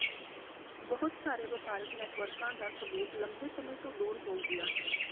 ਬਹੁਤ ਸਾਰੇ ਵਪਾਰਕ ਨੈਟਵਰਕਾਂ ਦਾ ਸਬੂਤ ਲੰਬੇ ਸਮੇਂ ਤੋਂ ਦੂਰ ਹੋ ਗਿਆ ਹੈ